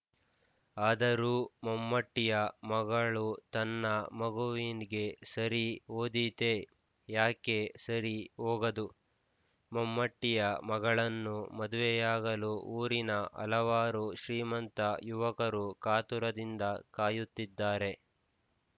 ಆದರೂ ಮಮ್ಮುಟ್ಟಿಯ ಮಗಳು ತನ್ನ ಮಗುವಿನಿಗೆ ಸರಿ ಹೋದೀತೆ ಯಾಕೆ ಸರಿ ಹೋಗದು ಮಮ್ಮ ಟಿಯ ಮಗಳನ್ನು ಮದುವೆಯಾಗಲು ಊರಿನ ಹಲವಾರು ಶ್ರೀಮಂತ ಯುವಕರು ಕಾತುರದಿಂದ ಕಾಯುತ್ತಿದ್ದಾರೆ